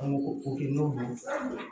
An b'o o kɛ n'olu ye